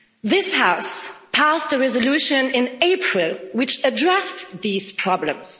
This House passed a resolution in April which addressed these problems.